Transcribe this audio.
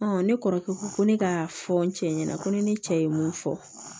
ne kɔrɔkɛ ko ko ne ka fɔ n cɛ ɲɛna ko ni ne cɛ ye mun fɔ